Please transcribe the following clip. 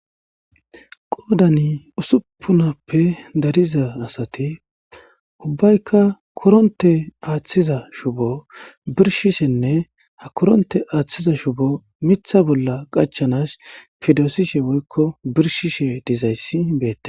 qoodani usuppunappe dariza asati ubbaykka koronte aaththiza shubo birshishenne ha koronte aaththiza shubo mitha bolla qachanas fidoosishe woykko birshishe dizayssi beette